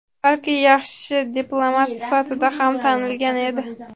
balki yaxshi diplomat sifatida ham tanilgan edi.